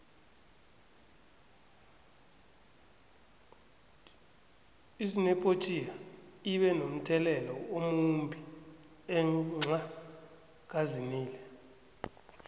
izinephobtiya ibe nomthelelo omumbi enxha kazinile